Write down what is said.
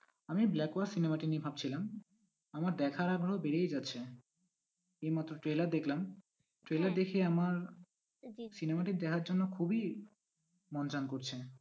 আমি cinema টি নিয়ে ভাবছিলাম আমার দেখার আগ্রহ বেড়েই যাচ্ছে এইমাত্র trailer দেখলাম trailer দেখে আমার cinema টি দেখার জন্য খুবই মন চান করছে।